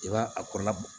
I b'a a kɔrɔla bɔ